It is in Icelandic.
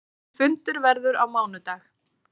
Næsti fundur verður á mánudag.